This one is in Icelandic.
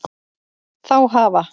Þá hafa